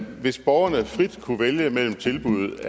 hvis borgerne frit kunne vælge mellem tilbud